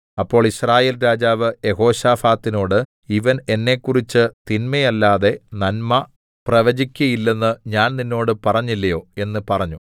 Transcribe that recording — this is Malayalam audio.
അപ്പോൾ യിസ്രായേൽ രാജാവ് യെഹോശാഫാത്തിനോട് ഇവൻ എന്നെക്കുറിച്ച് തിന്മയല്ലാതെ നന്മ പ്രവചിക്കയില്ലെന്ന് ഞാൻ നിന്നോട് പറഞ്ഞില്ലയോ എന്ന് പറഞ്ഞു